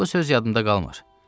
Bu söz yadımdan qalmır.